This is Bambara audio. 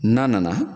N'a nana